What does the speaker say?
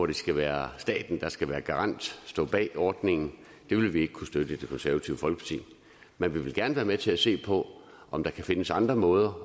det skal være staten der skal være garant og stå bag ordningen vil vi ikke kunne støtte i det konservative folkeparti men vi vil gerne være med til at se på om der kan findes andre måder